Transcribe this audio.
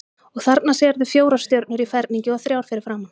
Og þarna sérðu fjórar stjörnur í ferningi og þrjár fyrir framan.